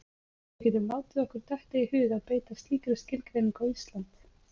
Við getum látið okkur detta í hug að beita slíkri skilgreiningu á Ísland.